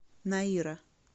наира